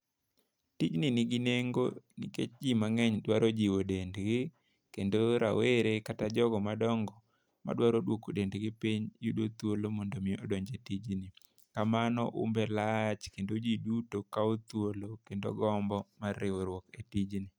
Pinyni nigi nengo nikech jii mang'eny dwaro jiwo dendgi kendo, rawere kata jogo madongo madwaro dwoko dendgi piny yudo thuolo mondo mi odonj e tijni . Kamano umbe lach kendo jii duto kawo thuolo kendo gombo mar riwruok e tijni